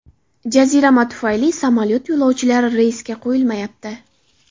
Jazirama tufayli samolyot yo‘lovchilari reysga qo‘yilmayapti.